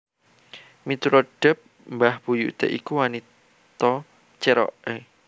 Miturut Depp mbah buyuté iku wanita Cherokee